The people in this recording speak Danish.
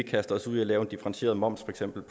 kaster os ud i at lave en differentieret moms